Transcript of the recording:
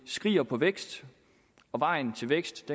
skriger på vækst og vejen til vækst